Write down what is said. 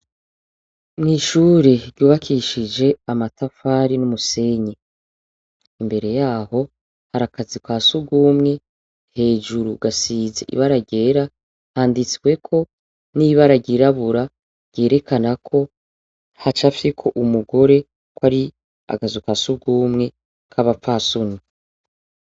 Mwishure ryubakishije amatafari n'umusenyi imbere yaho harakazu kasugumwe hejuru gasize ibara ryera handitsweko n'ibara ryirabura ryerekana ko hacafyeko umugore kwari akazu kasugumwe kabapfasoni.